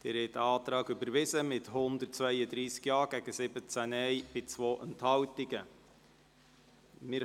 Sie haben diesen Antrag mit 132 Ja- gegen 17 Nein-Stimmen bei 2 Enthaltungen angenommen.